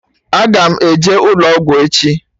Aga m eje ụlọ ọgwụ echi